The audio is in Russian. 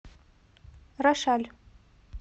рошаль